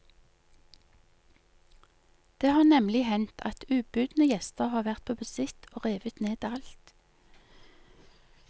Det har nemlig hendt at ubudne gjester har vært på visitt og revet ned alt.